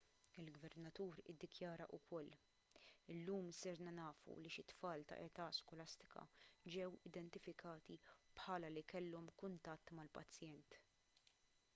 il-gvernatur iddikjara wkoll illum sirna nafu li xi tfal ta' età skolastika ġew identifikati bħala li kellhom kuntatt mal-pazjent